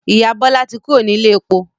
Ìyá Bọlá tí kúrò ní ilé epo